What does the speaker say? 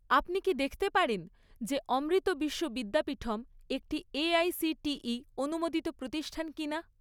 আপনি কি দেখতে পারেন যে অমৃত বিশ্ব বিদ্যাপীঠম একটি এআইসিটিই অনুমোদিত প্রতিষ্ঠান কিনা?